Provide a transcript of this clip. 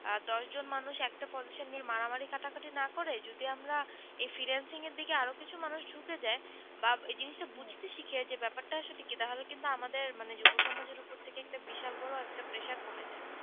আহ দশ জন মানুষ একটা position নিয়ে মারামারি কাটাকাটি না করে যদি আমরা এই freelancing এর দিকে আরো কিছু মানুষ ঝুকে যায় বা জিনিসটা বুঝতে শিখি যে ব্যাপারটা আসলে কি তাহলে কিন্তু আমাদের মানে যুব সমাজের উপর থেকে একটা বিশাল বড় একটা pressure কমে যায়।